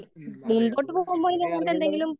ഉം അതെ അത് അതിനെ അറിയുന്നവർ.